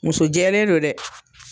Musojɛlen don dɛ